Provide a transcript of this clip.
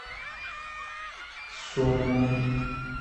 сумму